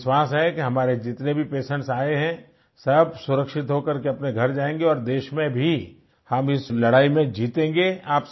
मुझे विश्वास है कि हमारे जितने भी पेशेंट्स आये हैं सब सुरक्षित होकर के अपने घर जायेंगे और देश में भी हम इस लड़ाई में जीतेंगे